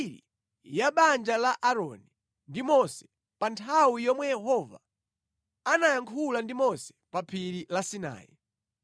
Iyi ndi mbiri ya banja la Aaroni ndi Mose pa nthawi yomwe Yehova anayankhula ndi Mose pa phiri la Sinai.